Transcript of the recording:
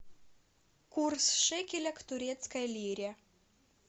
курс шекеля к турецкой лире